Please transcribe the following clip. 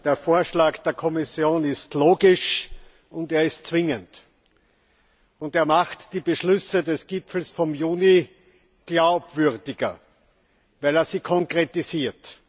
Der Vorschlag der Kommission ist logisch, und er ist zwingend. Er macht die Beschlüsse des Gipfels vom Juni glaubwürdiger, weil er sie konkretisiert.